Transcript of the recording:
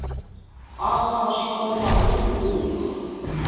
a sa swanelago go hlwa